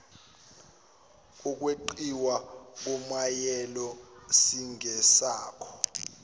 kokweqiwa komyalelo singesakho